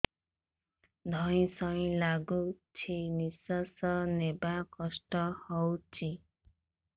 ଧଇଁ ସଇଁ ଲାଗୁଛି ନିଃଶ୍ୱାସ ନବା କଷ୍ଟ ହଉଚି